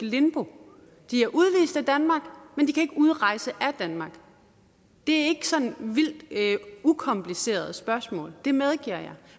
limbo de er udvist af danmark men de kan ikke udrejse af danmark det er ikke sådan et vildt ukompliceret spørgsmål det medgiver jeg